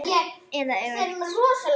Eða öfugt.